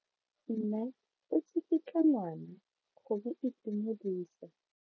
Mme o tsikitla ngwana go mo itumedisa.